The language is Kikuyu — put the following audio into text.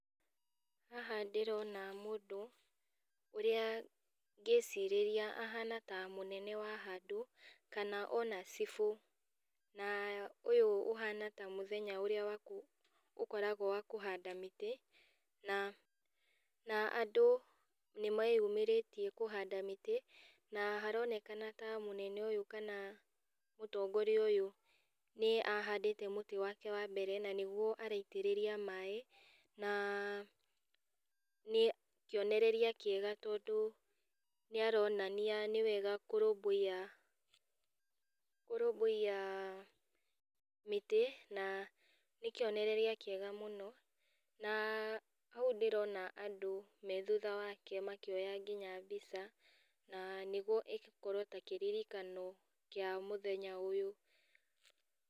Haha ndĩrona mũndũ ũrĩa ngĩcirĩria ahana ta mũnene wa handũ, kana ona cibũ na ũyũ ũhana ta mũthenya ũrĩa wa kũ ũkoragwo wa kũhanda mĩtĩ, na na andũ nĩmeyumĩrĩtie kũhanda mĩtĩ na haronekana ta mũnene ũyũ kana mũtongoria ũyũ nĩ ahandĩte mũtĩ wake wambere na nĩguo araitĩrĩria maĩ na nĩkionereria kĩega tondũ nĩaronania nĩwega kũrũmbuiya, kũrũmbũiya mĩtĩ, na nĩkĩonereria kĩega mũno. Na hau ndĩrona andũ me thutha wake makĩoya nginya mbica na nĩguo ĩkorwo ta kĩririkano kĩa mũthenya ũyũ.